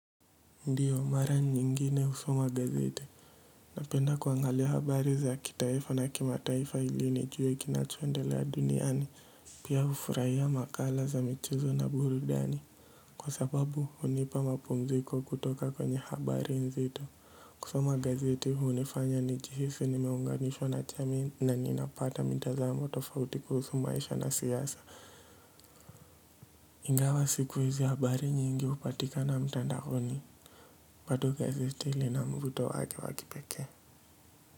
Ndiyo mara nyingine husoma gazeti napenda kuangalia habari za kitaifa na kimataifa ili nijue kinachoendelea duniani pia hufurahia makala za michezo na burudani kwa sababu hunipa mapumziko kutoka kwenye habari nzito kusoma gazete hunifanya njihisi nimeunganishwa na jamii na ninapata mitazamo tofauti kuhusu maisha na siasa ingawa siku hizi habari nyingi hupatikana mtandaoni bado gazeti lina mvuto wake wa kipekee.